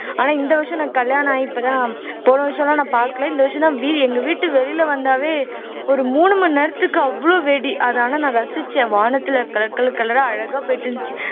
ஆனா இந்த வருஷம் நான் கல்யாணம் ஆகி இப்பதான் போன வருஷம் எல்லாம் நான் பார்க்கலை இந்த வருஷம்தான் வீ எங்க வீட்டு வெளியில வந்தாவே ஒரு மூணு மணி நேரத்துக்கு அவ்வளவு வெடி அதனால நான் ரசிச்சேன் வானத்துல color colour color ஆ அழகா போயிட்டு இருந்துச்சு